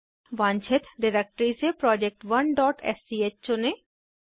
वांछित डिरेक्टरी से project1स्क चुनें